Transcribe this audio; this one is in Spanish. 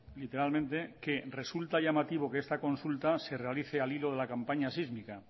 literalmente que resulta llamativo que esta consulta se realice al hilo de la campaña sísmica